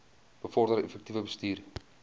bevorder effektiewe bestuur